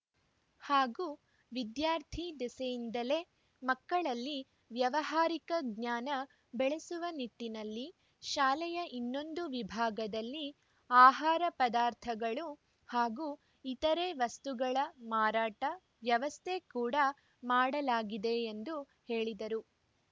ಹಾಗೂ ವಿದ್ಯಾರ್ಥಿ ದಿಸೆಯಿಂದಲೇ ಮಕ್ಕಳಲ್ಲಿ ವ್ಯವಹಾರಿಕ ಜ್ಞಾನ ಬೆಳೆಸುವ ನಿಟ್ಟಿನಲ್ಲಿ ಶಾಲೆಯ ಇನ್ನೊಂದು ವಿಭಾಗದಲ್ಲಿ ಆಹಾರ ಪದಾರ್ಥಗಳು ಹಾಗೂ ಇತರೆ ವಸ್ತುಗಳ ಮಾರಾಟ ವ್ಯವಸ್ಥೆ ಕೂಡಾ ಮಾಡಲಾಗಿದೆ ಎಂದು ಹೇಳಿದರು